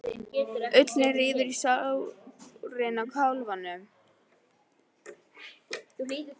Ullin rífur í sárin á kálfunum.